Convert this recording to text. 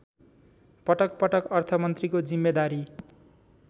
पटकपटक अर्थमन्त्रीको जिम्मेदारी